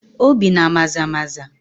Obii na Maza maza